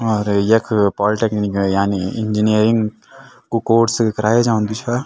और यख पोलटेकनिक यानी इंजीनियरिंग कु कोर्स करायु जान्दु छा।